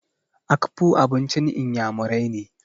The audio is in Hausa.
Akpu abincin iyamurai ne.